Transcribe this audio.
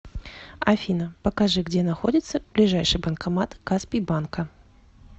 афина покажи где находится ближайший банкомат каспий банка